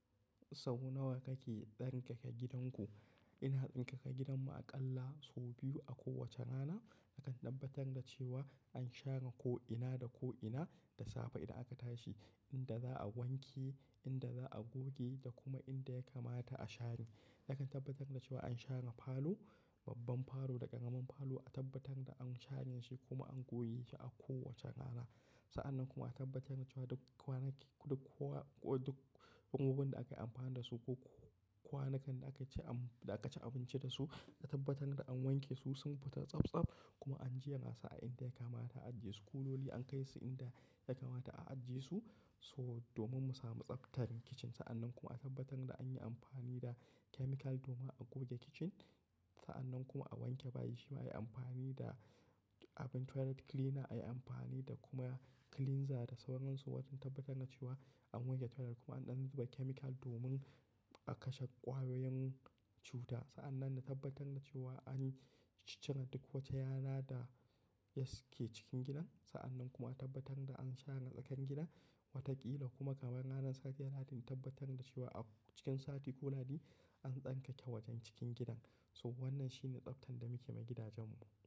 So nawa kake tsarkake gidanku? Ina tsarkake gidanmu aƙalla sau biyu a kowace rana. A kan tabbatar da cewa an share ko'ina da ko'ina da safe idan aka tashi, inda za a wanke, inda za a goge da kuma inda ya kamata a share. A kan tabbatar da cewa an share falo, babban falo da ƙaramin falo, a tabbatar da an shanye shi kuma an goge shi a kowace rana. Sa'annan kuma a tabbatar da cewa duk kwanaki, duk kowa, duk abubuwan da aka yi amfani da su ko kwanukan da aka ci am-- da aka ci abinci da su, a tabbatar da an wanke su sun fita tsabtsab kuma an ajjiye nasa inda ya kamata a ajiye su. Kuloli an kai su inda ya kamata a ajjiye su. So domin mu sami tsaftar kitchen. Sa'annan kuma a tabbatar da an yi amfani da chemical domin a goge kitchen. Sa'annan kuma a wanke bayi, shi ma a yi amfani da abin toilet cleaner, a yi amfani da kuma cleanser da sauran su wajen tabbatar da cewa an wanke toilet kuma an ɗan zuba chemical domin a kashe ƙwayoyin cuta. Sa'annan na tabbatar da cewa an cire duk wata yana da yake cikin gidan. Sa'annan kuma tabbatar da an share tsakan gidan wataƙila kuma gaban ranar satiya na diji, tabbatar da cewa a cikin sati ko lahadi an tsarkake wajen cikin gidan. So wannan shine tsaftar da muke yi ma gidajenmu.